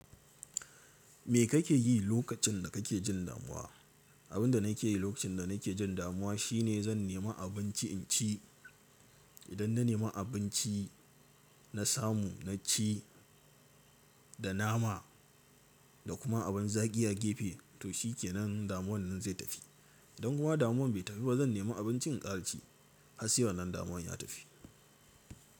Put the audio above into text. Me kake yi lokacin da kake jin damuwa? Abin da nake yi lokacin da nake jin damuwa shine zan nemi abinci in ci. Idan na nema abinci na samu, na ci da nama da kuma abin zaki a gefe to shikenan damuwan nan zai tafi. Idan kuma damuwan bai tafi ba zan nemi abinci in ƙara ci har sai wannan damuwan ya tafi.